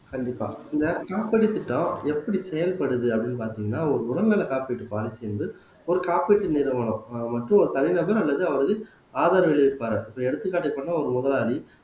கண்டிப்பா இந்த திட்டம் எப்படி செயல்படுது அப்படின்னு பார்த்தீங்கன்னா ஒரு உடல் நலக் காப்பீட்டு பாலிசி வந்து ஒரு காப்பீட்டு நிறுவனம் ஆஹ் மற்றும் ஒரு தலைநகர் அல்லது அவரது ஆதரவை எடுத்துக்காட்டு சொன்னா ஒரு முதலாளி